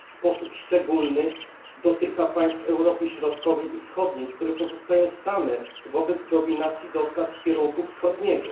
W sposób szczególny dotyka państw Europy Środkowej i Wschodniej, które pozostają same wobec dominacji dostaw z kierunku wschodniego.